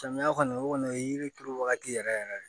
Samiya kɔni o kɔni o ye yiri turu wagati yɛrɛ de ye